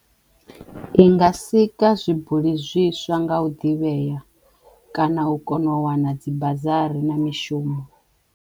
I nga sikwa zwibuli zwiswa nga u ḓivheya kana u kono u wana dzi bazari na mishumo.